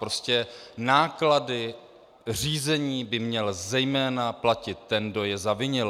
Prostě náklady řízení by měl zejména platit ten, kdo je zavinil.